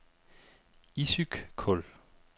Issyk-Kul